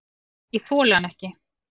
Ég þoli hann ekki.